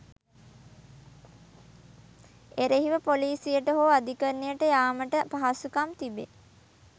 එරෙහිව පොලිසියට හෝ අධිකරණයට යාමට පහසුකම් තිබේ.